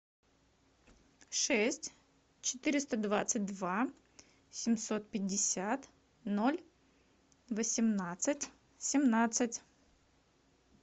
шесть четыреста двадцать два семьсот пятьдесят ноль восемнадцать семнадцать